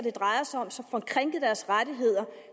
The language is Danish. det drejer sig om og som får krænket deres rettigheder